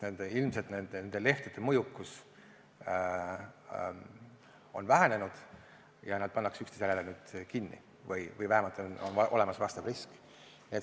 Ilmselt nende lehtede mõjukus on vähenenud ja neid pannakse üksteise järel kinni või vähemalt on olemas vastav risk.